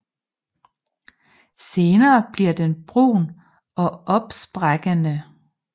Senere bliver den brun og opsprækkende